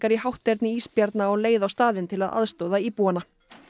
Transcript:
í hátterni ísbjarna eru á leið á staðinn til að aðstoða íbúana